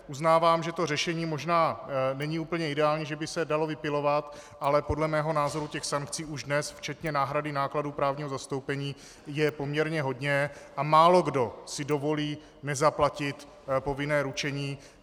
Uznávám, že to řešení možná není úplně ideální, že by se to dalo vypilovat, ale podle mého názoru těch sankcí už dnes, včetně náhrady nákladů právního zastoupení, je poměrně hodně a málokdo si dovolí nezaplatit povinné ručení.